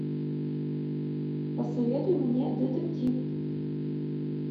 посоветуй мне детектив